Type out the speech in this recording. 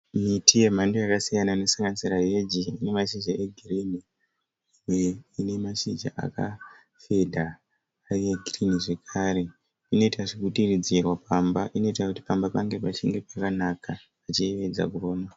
Miti yemhando yakasiyana. Inosanganisira heji ine mashizha egirini uye ine mashizha aka fedha ari e girinhi, zvekare inoita zvekudiridzirwa pamba inoita kuti pamba pange pachinge pakanaka pachiyevedza kuona.